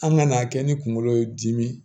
An ka n'a kɛ ni kungolo ye dimi